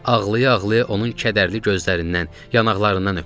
Ağlaya-ağlaya onun kədərli gözlərindən, yanaqlarından öpdüm.